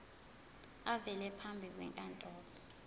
avele phambi kwenkantolo